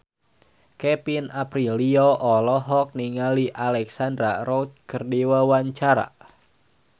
Kevin Aprilio olohok ningali Alexandra Roach keur diwawancara